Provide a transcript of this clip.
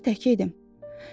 Axı evdə tək idim.